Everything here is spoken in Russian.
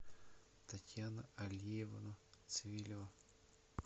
татьяна алиевна цвилева